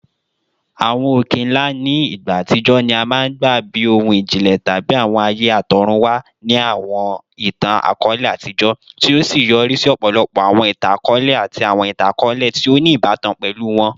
Awọn oke-nla ni igba atijọ ni a maa n gba bi ohun ijinlẹ tabi awọn aaye atọrunwa ni awọn itan-akọọlẹ atijọ, ti o yori si ọpọlọpọ awọn itan-akọọlẹ ati awọn itan-akọọlẹ ti o ni ibatan pẹlu wọn.